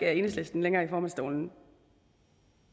er enhedslisten i formandsstolen